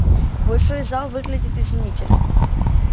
большой зал выглядит изумительно